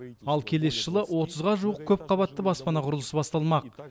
ал келесі жылы отызға жуық көпқабатты баспана құрылысы басталмақ